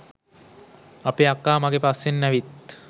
අපෙ අක්කා මගෙ පස්සෙන් ඇවිත්